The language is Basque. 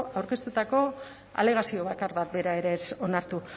aurkeztutako alegazio bakar bat bera ere ez onartu